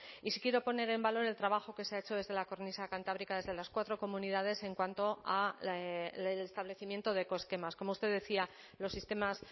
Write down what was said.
y sí quiero poner en valor el trabajo que se ha hecho desde la cornisa cantábrica desde las cuatro comunidades en cuanto al establecimiento de ecoesquemas como usted decía los sistemas